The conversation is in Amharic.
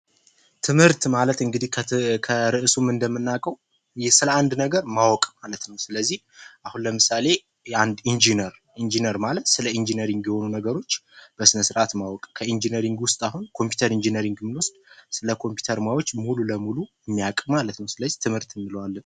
ትምህርት ማለት እንግዲህ ከእርሱም እንደምናቀው ስለ አንድ ነገር ማወቅ ማለት ነው ስለዚህ ለምሳሌ ስለ አንዴ ኢንጀነር ኢንጂነሪንግ ነገሮችን በስራት ማወቅ ኮምፒውተር ኢንጂነሪንግ ብንወስድ ስለ ኮምፒውተር ነገሮች ሙሉ ለሙሉ የሚያውቅ ማለት ነው ።ስለዚህ ትምህርት እንለዋለን።